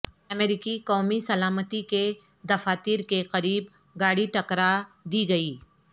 امریکی قومی سلامتی کے دفاتر کے قریب گاڑی ٹکرا دی گئ